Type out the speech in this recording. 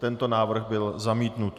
Tento návrh byl zamítnut.